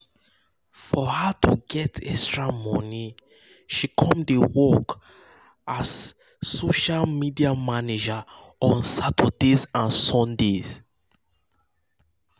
for her to get extra money she come come dey work as a social media manager on saturdays and sundays.